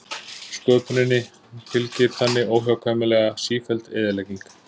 Sköpuninni fylgir þannig óhjákvæmilega sífelld eyðilegging.